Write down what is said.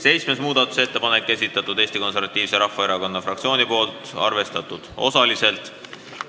Seitsmenda muudatusettepaneku on esitanud Eesti Konservatiivse Rahvaerakonna fraktsioon, on arvestatud osaliselt.